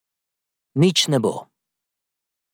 Nič ne bo.